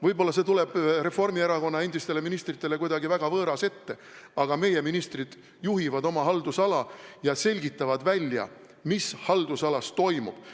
Võib-olla see tuleb Reformierakonna endistele ministritele kuidagi väga võõras ette, aga meie ministrid juhivad oma haldusala ja selgitavad välja, mis haldusalas toimub.